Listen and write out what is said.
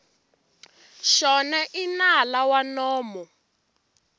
xona i nala wa nomo